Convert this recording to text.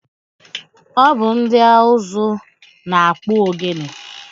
Ọ bụ ndị ụzụ na-akpụ ogene?